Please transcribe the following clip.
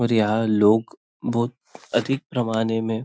और यहाँ लोग बहुत अधिक पैमाने में--